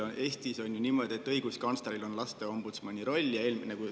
Eestis on ju niimoodi, et õiguskantsleril on laste ombudsmani roll.